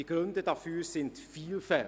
Die Gründe dafür sind vielfältig.